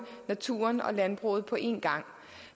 naturen og landbruget på en gang